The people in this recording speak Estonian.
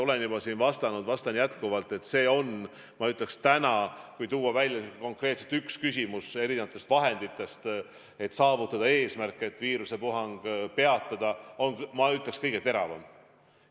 Olen juba siin vastanud ja vastan jätkuvalt, et kui tuua välja konkreetselt üks küsimus nende vahendite seast, kuidas saavutada eesmärk, et viirusepuhang peatada, siis see on, ma ütleks, kõige teravam.